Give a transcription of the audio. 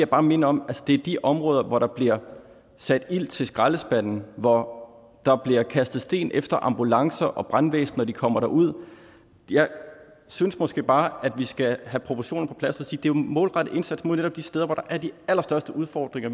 bare minde om at det er de områder hvor der bliver sat ild til skraldespande hvor der bliver kastet sten efter ambulancer og brandvæsen når de kommer derud jeg synes måske bare at vi skal have proportionerne på plads og sige det er en målrettet indsats mod netop de steder hvor der er de allerstørste udfordringer